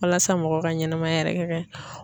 Walasa mɔgɔw ka ɲɛnɛmaya yɛrɛ kɛ ka ɲɛ.